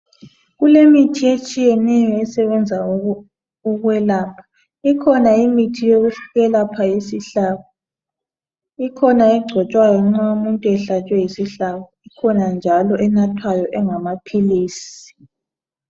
Kulemithi etshiyeneyo esebenza ukwelapha ikhona imithi yokwelaphela isihlabo ikhona egcotshwayo nxa umuntu ehlatshwe yisihlabo kukhona njalo enathwayo engamaphilisi.